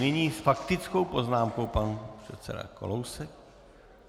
Nyní s faktickou poznámkou pan předseda Kalousek.